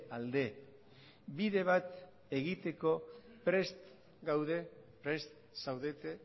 alde bide bat egiteko prest gaude prest zaudete